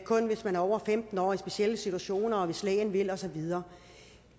kun hvis man over femten år og i specielle situationer og hvis lægen vil og så videre